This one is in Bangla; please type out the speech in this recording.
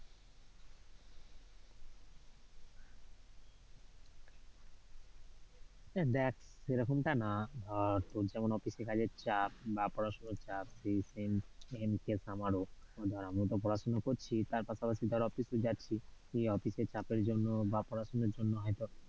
দেখ সেরকমটা না। ধর তোর যেমন office এ কাজের চাপ বা পড়াশোনার চাপ same case আমারও। ধর আমিও তো পড়াশোনা করছি বা তার পাশাপাশি office ও যাচ্ছি, সেই office এর চাপের জন্য বা পড়াশোনার জন্য হয়তো